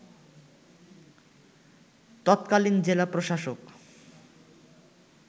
তৎকালীন জেলা প্রশাসক